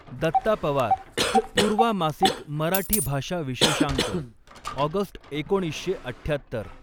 दत्ता पवार, पूर्वा मासिक मराठी भाषा विशेषांक ऑगस्ट एकोणीसशे अठ्ठयात्तर.